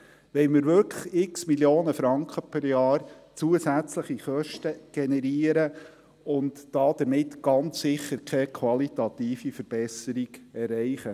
Wollen wir wirklich x Mio. Franken zusätzliche Kosten pro Jahr generieren und damit ganz sicher keine qualitative Verbesserung erreichen?